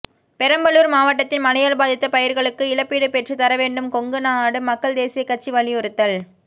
பெரம்பலூர் மாவட்டத்தில் மழையால் பாதித்த பயிர்களுக்கு இழப்பீடு பெற்றுத் தர வேண்டும் கொங்குநாடு மக்கள் தேசிய கட்சி வலியுறுத்தல்